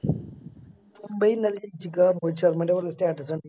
മുംബൈ ഇന്നലെ ജയിച്ചിക്ക പറഞ്ഞു രോഹിത് ശർമ്മേൻറെ Status കണ്ടിന്നു